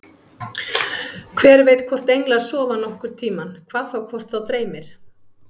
Hver veit hvort englar sofa nokkurn tímann, hvað þá hvort þá dreymir.